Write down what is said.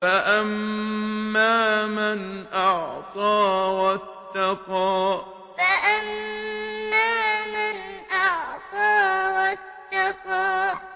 فَأَمَّا مَنْ أَعْطَىٰ وَاتَّقَىٰ فَأَمَّا مَنْ أَعْطَىٰ وَاتَّقَىٰ